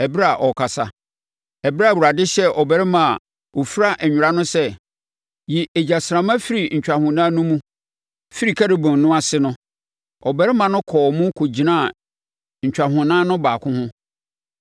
Ɛberɛ a Awurade hyɛɛ ɔbarima a ɔfira nwera no sɛ, “Yi egyasramma firi ntwahonan no mu, firi Kerubim no ase no,” ɔbarima no kɔɔ mu kɔgyinaa ntwahonan no baako ho.